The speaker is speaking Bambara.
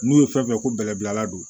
N'u ye fɛn fɛn ko bɛlɛbilala don